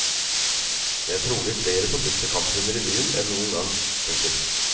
Det er trolig flere forbudte kamphunder i byen enn noen gang. punktum